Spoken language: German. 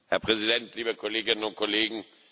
Herr Präsident, liebe Kolleginnen und Kollegen!